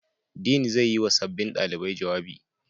Dean zai yi wa sabbin ɗalibai jawabi.